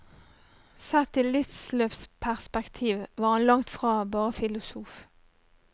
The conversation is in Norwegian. Sett i livsløpsperspektiv var han langt fra bare filosof.